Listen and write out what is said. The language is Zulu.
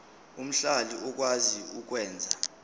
omhlali okwazi ukwenza